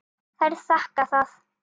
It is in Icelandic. Þær þakka það.